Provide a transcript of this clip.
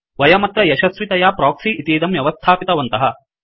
वयमत्र यशस्वितया प्रोक्सि इतीदं व्यवस्थापितवन्तः